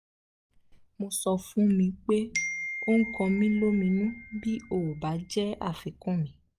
mo sọ fún mi pé ó ń kọ mí lóminú bí ó bá jẹ́ àfikún mi